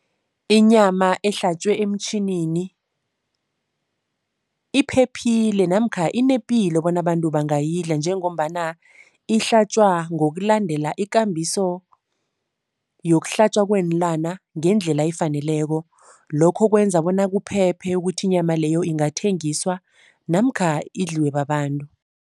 Inyama ehlatjwe emtjhinini iphephile namkha inepilo bona abantu bangayidlala njengombana ihlatjwa ngokulandela ikambiso yokuhlatjwa kweenlwana ngendlela efaneleko. Lokho kwenza bona kuphephe ukuthi inyama leyo ingathengiswa namkha idliwe babantu.